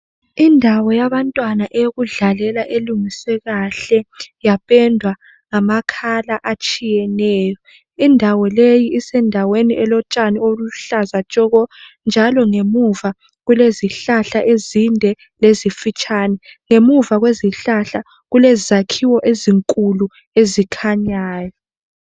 Indawo yabantwana yokudlalela elungiswe kahle yapendwa ngamakhala atshiyeneyo. Indawo leyi isendaweni elotshani eluhlaza tshoko njalo ngemuva kulezihlahla ezinde lezifitshane. Ngemuva kwezihlahla kulezakhiwo ezinkulu ezikhanyayo.